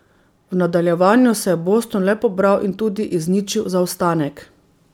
V nadaljevanju se je Boston le pobral in tudi izničil zaostanek.